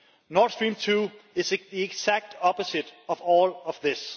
Nord Stream 2 is the exact opposite of all of this.